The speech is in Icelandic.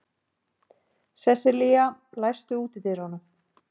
Sesselía, læstu útidyrunum.